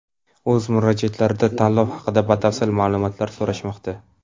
o‘z murojaatlarida tanlov haqida batafsil ma’lumotlar so‘rashmoqda.